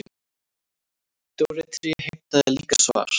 Dóri tré heimtaði líka svar.